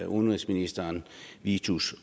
udenrigsminister vittus